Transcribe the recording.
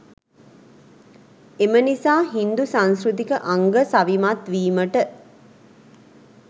එම නිසා හින්දු සංස්කෘතික අංග සවිමත් වීමට